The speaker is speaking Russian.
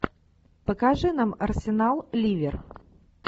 покажи нам арсенал ливер